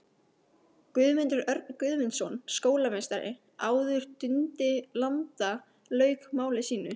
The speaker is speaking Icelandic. Guðmundur Örn Guðmundsson skólameistari, áður Dundi landa, lauk máli sínu.